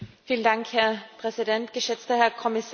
Herr Präsident, geschätzter Herr Kommissar!